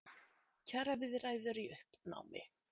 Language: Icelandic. Kjaraviðræður í uppnámi